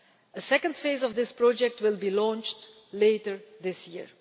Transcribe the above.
A second phase of this project will be launched later this year.